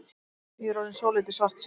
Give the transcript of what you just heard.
Ég er orðinn svolítið svartsýnn.